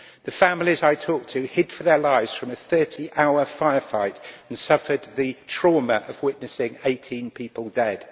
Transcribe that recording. The families I talked to had hidden for their lives from a 30-hour firefight and suffered the trauma of witnessing 18 people dead.